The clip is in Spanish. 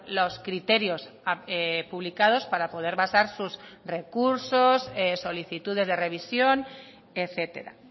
los criterios publicados para poder basar sus recursos solicitudes de revisión etcétera